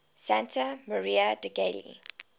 santa maria degli